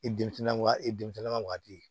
I denmisɛnnin waagati e ka waati ye